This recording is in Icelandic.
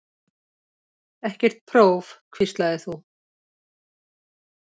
Ekkert próf, hvíslaðir þú.